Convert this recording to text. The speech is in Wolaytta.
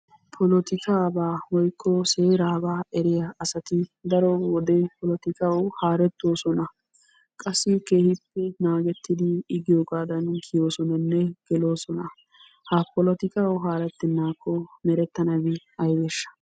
Polottikkabaa woykko seeraba eriyaa asati daro wode polottikawu haaretosona. Qassi keehippe naagettidi i giyoogadan kiyosonanne geloosona. Ha polottikawu haaretenako merettanabi aybeesha?